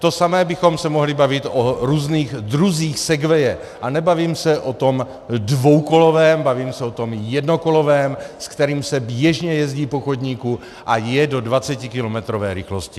To samé bychom se mohli bavit o různých druzích segwaye, a nebavím se o tom dvoukolovém, bavím se o tom jednokolovém, se kterým s běžně jezdí po chodníku, a je to dvacetikilometrové rychlosti.